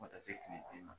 Fo ka taa se kile bi ma